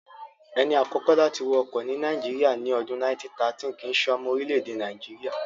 Ẹni àkọ́kọ́ láti wa ọkọ̀ ní Nàìjíríyà, ní ọdún 1913 kìíse ọmọ orílẹ̀-èdè Nàìjíríyà